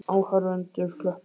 Áhorfendur klöppuðu ákaft.